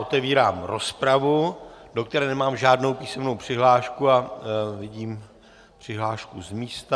Otevírám rozpravu, do které nemám žádnou písemnou přihlášku, ale vidím přihlášku z místa.